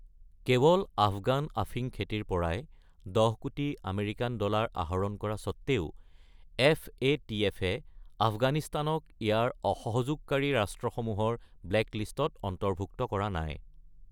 কেৱল আফগান আফিং খেতিৰ পৰাই দহ কোটি আমেৰিকান ডলাৰ আহৰণ কৰা স্বত্বেও, এফএটিএফ-এ আফগানিস্তানক ইয়াৰ অসহযোগকাৰী ৰাষ্ট্ৰসমূহৰ ব্লেকলিষ্টত অন্তৰ্ভুক্ত কৰা নাই।